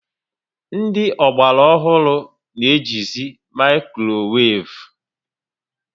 Ndị Ogbara ọhụrụ na eji zi maikroweivu